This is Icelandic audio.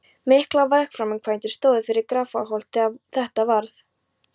Miklar vegaframkvæmdir stóðu yfir við Grafarholt þegar þetta varð.